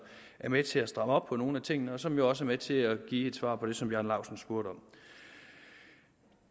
er med til at stramme op på nogle af tingene og som jo også er med til at give et svar på det som herre bjarne laustsen spurgte om